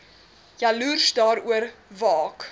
jaloers daaroor waak